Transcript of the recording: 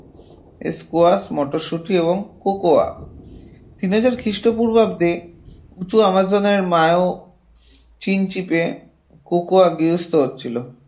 squash, মটরশুটি এবং কোকোয়া তিন হাজার খ্রিস্টপূর্বাব্দে উঁচু আমাজনের মায়ো চিনচিপে কোকোয়া গার্হস্থ্যকৃত হচ্ছিল